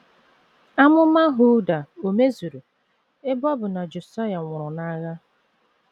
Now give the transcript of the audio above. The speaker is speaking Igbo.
Amụma Hulda ò mezuru, ebe ọ bụ na Josaịa nwụrụ n’agha?